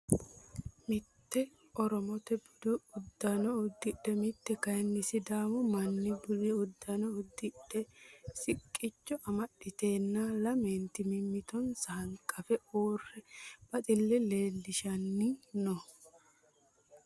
Mitte oromote budu uddano udidhe mitte kayii sidaamu manni budu uddano udidhe siqqicho amaxiteenna lamenti mimittonsa hanqafe uurre baxille leellishanni noo.